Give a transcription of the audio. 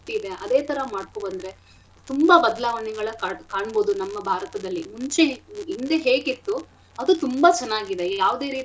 ಇದೆ ಅದೇಥರ ಮಾಡ್ಕೊ ಬಂದ್ರೆ ತುಂಬಾ ಬದ್ಲಾವಣೆಗಳ ಕಾ~ ಕಾಣ್ಬೋದು ನಮ್ಮ ಭಾರತದಲ್ಲಿ ಮುಂಚೆ ಹಿಂದೆ ಹೇಗಿತ್ತು ಅದು ತುಂಬಾ ಚೆನ್ನಾಗಿದೆ ಈ ಯಾವ್ದೆ.